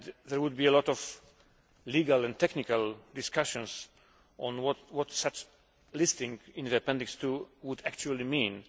There would be a lot of legal and technical discussions on what such a listing in Appendix II would actually mean.